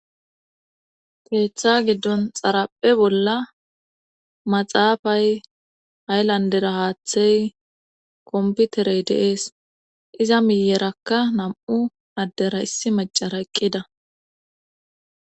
Peetha giddon xarapphe bolla maxaafay ayllandera haaththey komputerey deees iza miyerakka nam7u addera issi macara eqqida